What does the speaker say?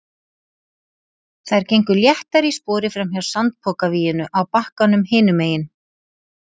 Þær gengu léttar í spori framhjá sandpokavíginu á bakkanum hinum megin.